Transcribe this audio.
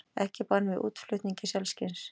Ekki bann við útflutningi selskinns